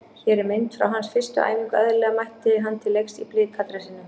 Hér er mynd frá hans fyrstu æfingu- eðlilega mætti hann til leiks í Blika dressinu.